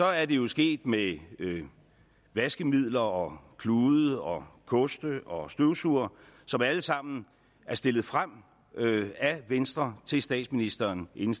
er det jo sket med vaskemidler og klude og koste og støvsugere som alle sammen er stillet frem af venstre til statsministeren inden